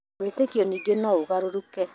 Wĩtĩkio ningĩ no ũgarũrũke